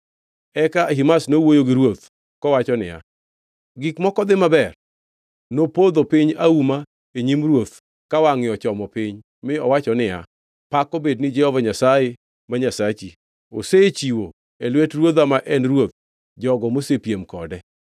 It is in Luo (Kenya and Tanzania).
Eka Ahimaz nowuoyo gi ruoth kowacho niya, “Gik moko dhi maber!” Nopodho piny auma e nyim ruoth ka wangʼe ochomo piny mi owacho niya, “Pak obed ni Jehova Nyasaye ma Nyasachi! Osechiwo e lwet ruodha ma en ruoth jogo mosepiem kode.”